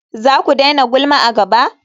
Zaku daina gulma a gaba?